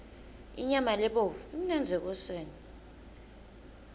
inyama lebovu imnandzi ekoseni